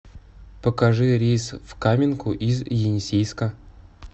покажи рейс в каменку из енисейска